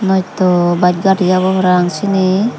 noito bas gari obow parapang siyeni.